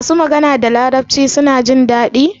masu magana da larabci suna jindadi